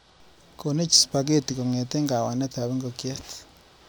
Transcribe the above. Konech spaghettik kong'ete kawanetab ingokchet.